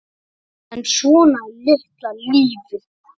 En svona er litla lífið.